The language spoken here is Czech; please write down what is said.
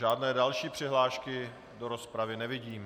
Žádné další přihlášky do rozpravy nevidím.